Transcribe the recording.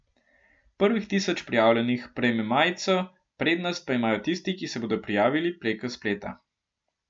Prvih tisoč prijavljenih prejme majico, prednost pa imajo tisti, ki se bodo prijavili preko spleta.